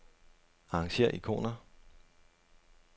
Arrangér ikoner.